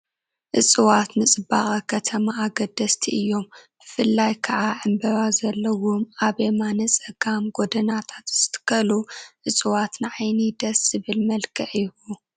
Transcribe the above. እፅዋት ንፅባቐ ከተማ ኣገደስቲ እዮም፡፡ ብፍላይ ከዓ ዕንበባ ዘለዎም ኣብ የማነ ፀጋም ጎደናታት ዝትከሉ እፅዋት ንዓይኒ ደስ ዘብል መልክዕ ይህቡ፡፡